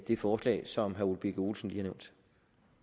det forslag som herre ole birk olesen lige har nævnt